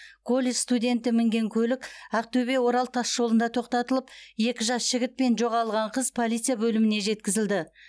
колледж студенті мінген көлік ақтөбе орал тасжолында тоқтатылып екі жас жігіт пен жоғалған қыз полиция бөліміне жеткізілді